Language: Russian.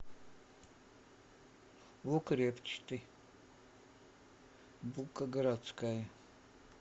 лук репчатый булка городская